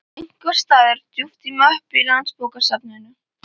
einhvers staðar djúpt í möppu á Landsbókasafninu.